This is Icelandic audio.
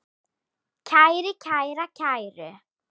kæri, kæra, kæru